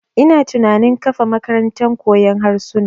Ina tunanin kafa makarantar koyon harsuna.